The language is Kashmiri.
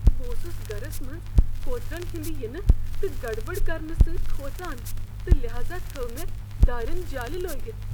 بہٕ اوسُس گرس منٛز کوترن ہنٛدِ ینہٕ تہٕ گڑبڑ کرنہٕ سۭتۍ کھوژان تہٕ لحاذا تھٲو مےٚ دٲرین جالہ لٲگِتھ۔